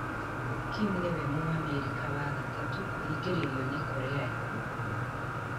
Kim nĩ we Mũamerika wa gatatũ kũhingĩrĩrio nĩ Korea ya Rũgongo.